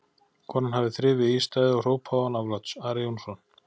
Konan hafði þrifið í ístaðið og hrópað án afláts: Ari Jónsson!